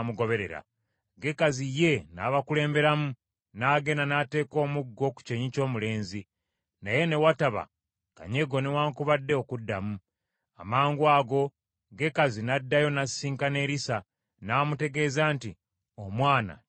Gekazi ye n’abakulemberamu, n’agenda n’ateeka omuggo ku kyenyi ky’omulenzi, naye ne wataba kanyego newaakubadde okuddamu. Amangwago Gekazi n’addayo n’asisinkana Erisa, n’amutegeeza nti, “Omwana tagolokose.”